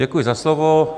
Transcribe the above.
Děkuji za slovo.